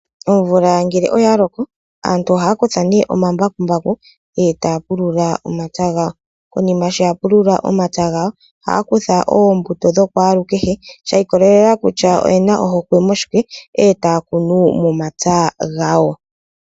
Omvula ngele oya loko aantu ohaya kutha nee omambakumbaku eta ya pulula omapya gawo. Konima sho yapulula omapya gawo ohaya kutha oombuto dhookwalukehe shiikolelela kutya oyena ohokwe moshike ndele taya kunu omapya gawo.